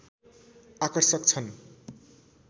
आकर्षक छन्